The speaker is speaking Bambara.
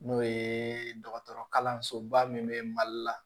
N'o ye dɔgɔtɔrɔ kalansoba min bɛ mali la